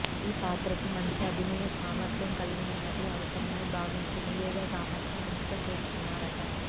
ఈ పాత్రకి మంచి అభినయ సామర్థ్యం కలిగిన నటి అవసరమని భావించే నివేదా థామస్ ను ఎంపిక చేసుకున్నారట